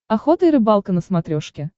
охота и рыбалка на смотрешке